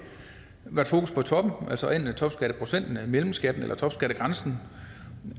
været fokus på toppen altså enten topskatteprocenten mellemskatten eller topskattegrænsen